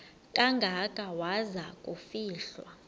kangaka waza kufihlwa